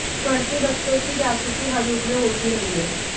बढ़ते बच्चों की जासूसी हर युग में होती रही है